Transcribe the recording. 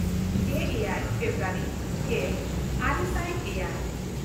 ᱜᱮᱼᱮᱭᱟᱭ February ᱜᱮᱼᱟᱨᱮ ᱥᱟᱭ ᱮᱭᱟᱭ